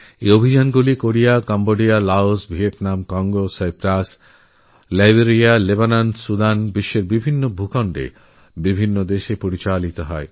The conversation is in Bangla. এই সব প্রচেষ্টা Korea Cambodia Laos Vietnam Congo Cyprus Liberia Lebanon Sudan প্রভৃতি বিশ্বের নানা ভূভাগে বিভিন্নদেশে চলছে